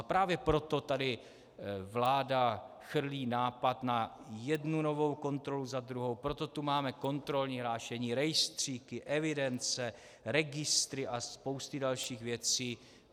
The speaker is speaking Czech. A právě proto tady vláda chrlí nápad na jednu novou kontrolu za druhou, proto tu máme kontrolní hlášení, rejstříky, evidence, registry a spousty dalších věcí.